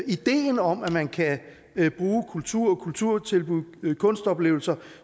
ideen om at man kan bruge kultur og kulturtilbud og kunstoplevelser